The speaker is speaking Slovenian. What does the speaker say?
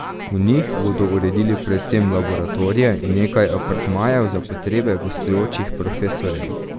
V njih bodo uredili predvsem laboratorije in nekaj apartmajev za potrebe gostujočih profesorjev.